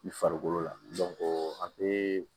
I farikolo la a bɛ